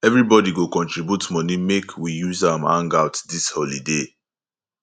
everybodi go contribute moni make we use am hangout dis holiday